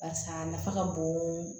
Barisa a nafa ka bon